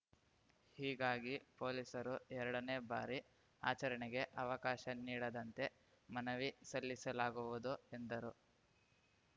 ಹೀಗಾಗಿ ಪೊಲೀಸರು ಎರಡನೇ ಬಾರಿ ಆಚರಣೆಗೆ ಅವಕಾಶ ನೀಡದಂತೆ ಮನವಿ ಸಲ್ಲಿಸಲಾಗುವುದು ಎಂದರು